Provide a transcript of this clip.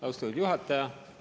Austatud juhataja!